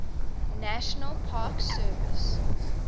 national park service